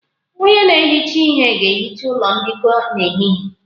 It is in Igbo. Onye na-ehicha ihe ga-ehicha ụlọ mbikọ n'ehihie